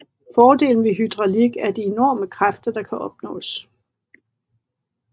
Fordelen ved hydraulik er de enorme kræfter der kan opnås